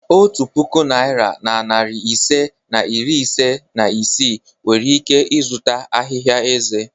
Otu puku naịra na narị ise na iri ise na isii nwere ike zụta ahịhịa eze.